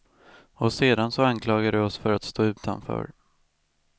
Och sedan så anklagar de oss för att stå utanför.